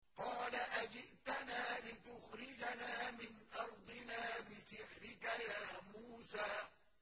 قَالَ أَجِئْتَنَا لِتُخْرِجَنَا مِنْ أَرْضِنَا بِسِحْرِكَ يَا مُوسَىٰ